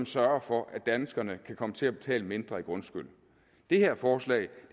sørger for at danskerne kan komme til at betale mindre i grundskyld det her forslag